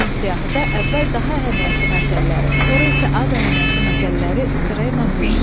Həmin siyahıda əvvəl daha əhəmiyyətli məsələləri, sonra isə az əhəmiyyətli məsələləri sırayla düz.